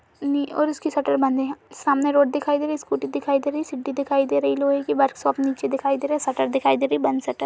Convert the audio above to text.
और उसकी शटर बंद है। सामने रोड दिखाई दे रही है। स्कूटी दिखाई दे रही है। सीढ़ी दिखाई दे रही है। लोहे की वर्क्शाप नीचे दिखाई दे रहा है। शटर दिखाई दे रहा है। बंद शटर --